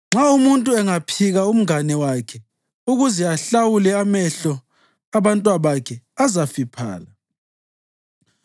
Nxa umuntu angaphika umngane wakhe ukuze ahlawulwe, amehlo abantwabakhe azafiphala.